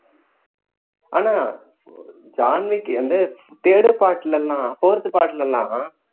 ஆனா ஜான்விக் வந்து third part லலாம் fourth part லலாம்